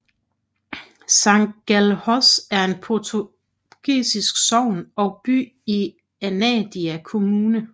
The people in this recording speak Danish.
Sangalhos er en portugisisk sogn og by i Anadia kommune